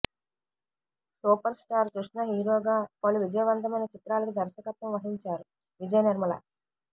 super star Krishna హీరోగా పలు విజయవంతమైన చిత్రాలకు దర్శకత్వం వహించారు విజయ నిర్మల